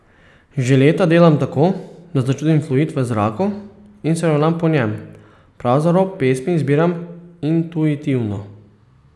Že leta delam tako, da začutim fluid v zraku in se ravnam po njem, pravzaprav pesmi izbiram intuitivno.